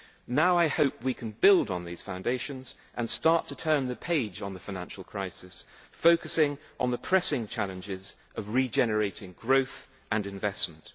Now I hope we can build on these foundations and start to turn the page on the financial crisis, focusing on the pressing challenges of regenerating growth and investment.